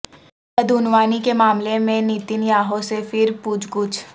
بدعنوانی کے معاملہ میں نیتن یاہو سے پھر پوچھ گچھ